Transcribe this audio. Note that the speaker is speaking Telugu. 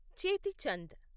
చేతి చంద్